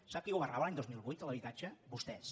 sap qui governava l’any dos mil vuit a l’habitatge vostès